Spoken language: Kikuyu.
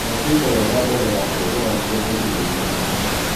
Thambia indo wega mbele ya kuhuthira nĩguo kwigiririrĩa mĩrimũ